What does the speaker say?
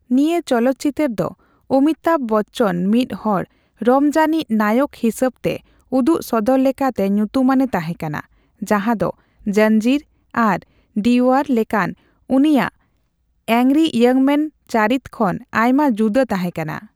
ᱱᱤᱭᱟᱹ ᱪᱚᱞᱚᱛᱪᱤᱛᱟᱹᱨ ᱫᱚ ᱚᱢᱤᱛᱟᱣ ᱵᱚᱪᱪᱚᱱ ᱢᱤᱛ ᱦᱚᱲ ᱨᱚᱢᱚᱡᱟᱱᱤᱪ ᱱᱟᱭᱚᱠ ᱦᱤᱥᱟᱹᱵᱛᱮ ᱩᱫᱩᱠ ᱥᱚᱫᱚᱨ ᱞᱮᱠᱟᱛᱮ ᱧᱩᱛᱩᱢᱟᱱᱮ ᱛᱟᱦᱮᱠᱟᱱᱟ, ᱡᱟᱦᱟ ᱫᱚ 'ᱡᱚᱧᱡᱤᱨ' ᱟᱨ 'ᱰᱤᱳᱣᱟᱨ' ᱞᱮᱠᱟᱱ ᱩᱱᱤᱭᱟᱜ ᱮᱝᱨᱤ ᱤᱭᱚᱝ ᱢᱮᱱ ᱪᱟᱹᱨᱤᱛ ᱠᱷᱚᱱ ᱟᱭᱢᱟ ᱡᱩᱫᱟᱹ ᱛᱟᱦᱮᱠᱟᱱᱟ ᱾